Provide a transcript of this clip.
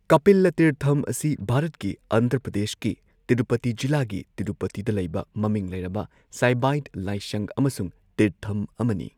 ꯀꯄꯤꯂꯥ ꯇꯤꯔꯊꯝ ꯑꯁꯤ ꯚꯥꯔꯠꯀꯤ ꯑꯟꯙ꯭ꯔ ꯄ꯭ꯔꯗꯦꯁꯀꯤ ꯇꯤꯔꯨꯄꯇꯤ ꯖꯤꯂꯥꯒꯤ ꯇꯤꯔꯨꯄꯇꯤꯗ ꯂꯩꯕ ꯃꯃꯤꯡ ꯂꯩꯔꯕ ꯁꯥꯏꯕꯥꯏꯠ ꯂꯥꯏꯁꯪ ꯑꯃꯁꯨꯡ ꯇꯤꯔꯊꯝ ꯑꯃꯅꯤ꯫